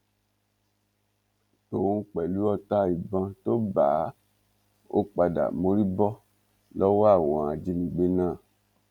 tòun pẹlú ọta ìbọn tó bá a ó padà mórí bọ lọwọ àwọn ajínigbé náà